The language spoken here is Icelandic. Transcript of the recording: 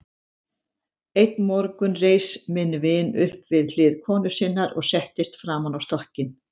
Einn morgun reis minn vin upp við hlið konu sinnar og settist framan á stokkinn.